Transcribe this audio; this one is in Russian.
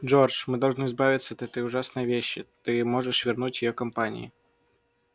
джордж мы должны избавиться от этой ужасной вещи ты можешь вернуть её компании